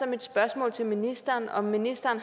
mit spørgsmål til ministeren har ministeren